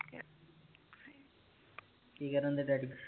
ਕੀ ਕਰਨ ਦੇ ਡੈਡੀ